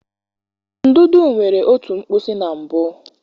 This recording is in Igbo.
Ndụdụ nwere otú mkpịsị na mbụ.